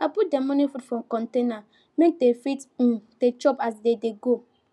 i put their morning food for container make dem fit um dey chop as dem dey go